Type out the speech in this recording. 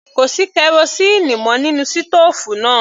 Kò sí kerosíínì mọ́ nínú sítòòfù náà.